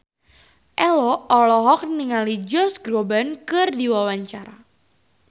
Ello olohok ningali Josh Groban keur diwawancara